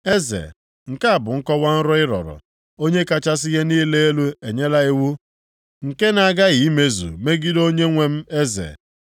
“Eze, nke a bụ nkọwa nrọ ị rọrọ, Onye kachasị ihe niile elu enyela iwu nke na-aghaghị imezu megide onyenwe m eze.